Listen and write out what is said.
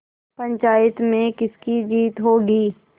पंचायत में किसकी जीत होगी